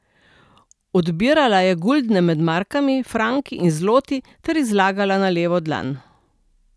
Odbirala je guldne med markami, franki in zloti ter jih zlagala na levo dlan.